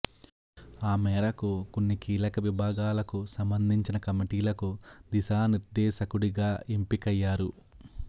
ఆ మేరకు కొన్ని కీలక విభాగాలకు సంబంధించిన కమిటీలకు దిశానిర్ధేశకుడిగా ఎంపికయ్యారు